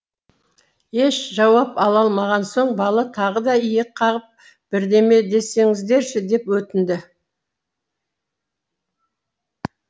еш жауап ала алмаған соң бала тағы да иек қағып бірдеме десеңіздерші деп өтінді